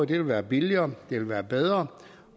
det være billigere det vil være bedre